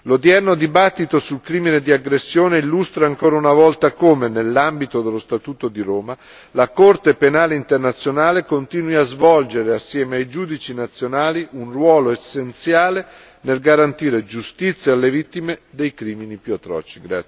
L'odierno dibattito sul crimine di aggressione illustra ancora una volta come, nell'ambito dello Statuto di Roma, la Corte penale istituzionale continui a svolgere, assieme ai giudici nazionali, un ruolo essenziale nel garantire giustizia alle vittime dei crimini più atroci.